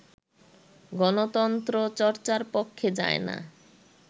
গণতন্ত্র চর্চার পক্ষে যায় না